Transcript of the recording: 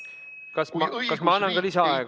Kas ma annan ka lisaaega?